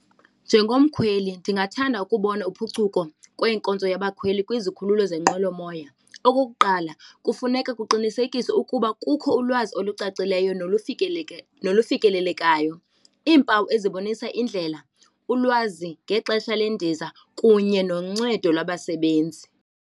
Njengomkhweli ndingathanda ukubona uphuculo kwenkonzo yabakhweli kwizikhululo zenqwelomoya. Okokuqala kufuneka kuqinisekiswe ukuba kukho ulwazi olucacileyo nokufikelelekayo, iimpawu ezibonisa indlela, ulwazi ngexesha lendiza kunye noncedo lwabasebenzi.